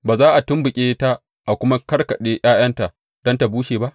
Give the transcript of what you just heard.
Ba za a tumɓuke ta a kuma kakkaɓe ’ya’yanta don ta bushe ba?